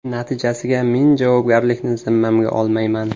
Natijasiga men javobgarlikni zimmamga olmayman.)